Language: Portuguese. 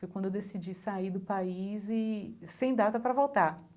Foi quando eu decidi sair do país e sem data para voltar.